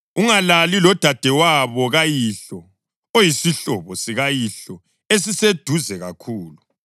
Ungalali lodadewabo kayihlo; uyisihlobo sikayihlo esiseduze kakhulu.